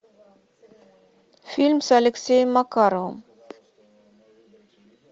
фильм с алексеем макаровым